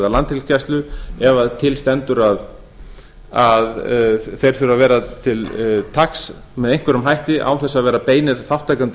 landhelgisgæslu ef til stendur að þeir þurfi að vera til taks með einhverjum hætti án þess að vera beinir þátttakendur